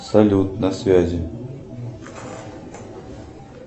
салют на связи